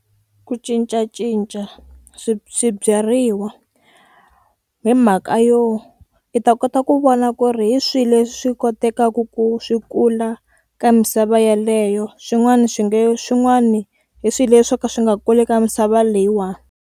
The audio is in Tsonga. Ku cincacinca swi swibyariwa hi mhaka yo i ta kota ku vona ku ri hi swihi leswi kotekaku ku swi kula ka misava yaleyo swin'wani swi nge swin'wani hi swihi leswi swo ka swi nga kuli ka misava leyiwani.